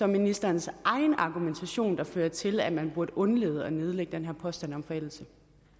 ministerens egen argumentation der fører til at man burde undlade at nedlægge den her påstand om forældelse